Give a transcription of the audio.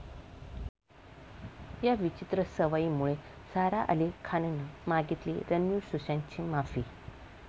या' विचित्र सवयीमुळे सारा अली खाननं मागितली रणवीर, सुशांतची माफी